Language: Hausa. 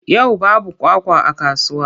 Yau babu kwakwa a kasuwa.